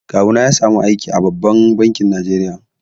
Kawuna ya samu aiki a babban bankin Najeriya.